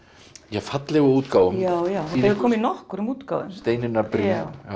fallegu útgáfum já já komu í nokkrum útgáfum Steinunnar Briem